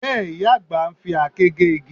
Bẹ́ẹ̀, ìyá àgbà ń fi àáké gé igi